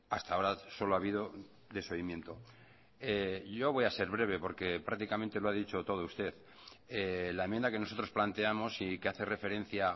hasta ahora solo ha habido desoimiento yo voy a ser breve porque prácticamente lo ha dicho todo usted la enmienda que nosotros planteamos y que hace referencia